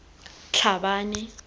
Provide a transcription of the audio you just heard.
tlhabane